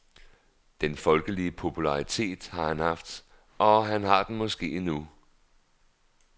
Den folkelige popularitet har han haft, og han har den måske endnu.